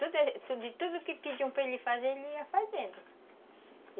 Tudo, tudo que pediam para ele fazer, ele ia fazendo.